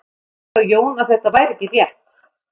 Sagði þá Jón að þetta væri ekki rétt.